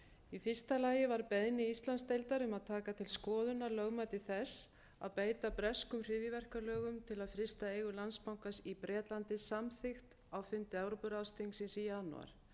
í fyrsta lagi var beiðni íslandsdeildar um að taka til skoðunar lögmæti þess að beita breskum hryðjuverkalögum til að frysta eigur landsbankans í bretlandi samþykkt á fundi evrópuráðsþingsins í janúar